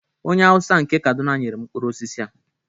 onye Hausa nke Kaduna nyere m mkpụrụ osisi a